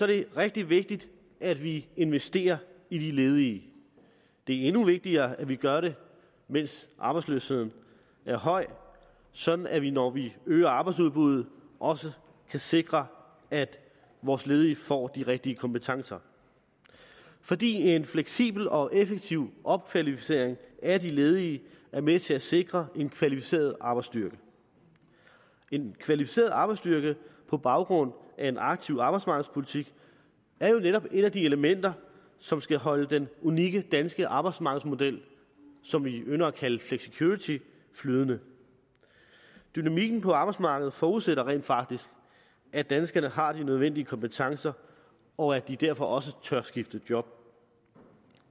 det rigtig vigtigt at vi investerer i de ledige det er endnu vigtigere at vi gør det mens arbejdsløsheden er høj sådan at vi når vi øger arbejdsudbuddet også kan sikre at vores ledige får de rigtige kompetencer fordi en fleksibel og effektiv opkvalificering af de ledige er med til at sikre en kvalificeret arbejdsstyrke en kvalificeret arbejdsstyrke på baggrund af en aktiv arbejdsmarkedspolitik er jo netop et af de elementer som skal holde den unikke danske arbejdsmarkedsmodel som vi ynder at kalde flexicurity flydende dynamikken på arbejdsmarkedet forudsætter rent faktisk at danskerne har de nødvendige kompetencer og at de derfor også tør skifte job